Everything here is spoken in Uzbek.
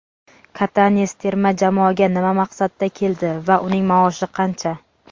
Katanes terma jamoaga nima maqsadda keldi va uning maoshi qancha?.